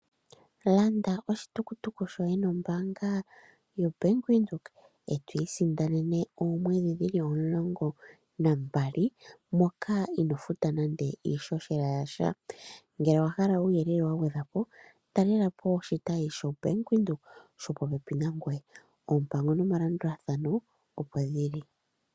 Landa oshitukutuku shoye nombanga yo Bank Windhoek, eto isindanene oomwedhi dhili omulongo na mbali, moka ino futa nando iishoshela yasha, ngele owa hala uuyelele wa gwedhwapo, talelapo oshitayi sho Bank Windhoek shili popepi nangoye. Oompangi nomalabdulathano opo dhili.